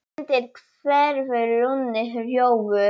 undir hverfur runni, rjóður